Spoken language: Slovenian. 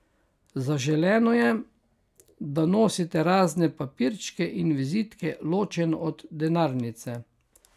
Zaželeno je, da nosite razne papirčke in vizitke ločeno od denarnice.